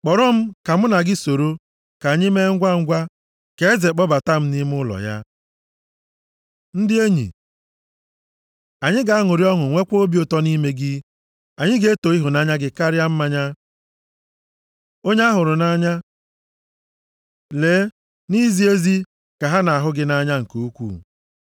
Kpọrọ m, ka mụ na gị soro, ka anyị mee ngwangwa. Ka eze kpọbata m nʼime ụlọ ya. Ndị Enyi Anyị ga-aṅụrị ọṅụ nwekwa obi ụtọ nʼime gị. Anyị ga-eto ịhụnanya gị karịa mmanya. Onye a hụrụ nʼanya Lee nʼizi ezi ka ha nʼahụ gị nʼanya nke ukwuu.